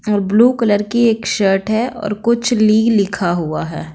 और blue colour की एक शर्ट है और कुछ ली लिखा हुआ है।